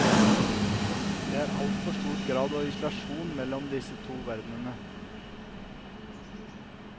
Det er altfor stor grad av isolasjon mellom disse to verdenene.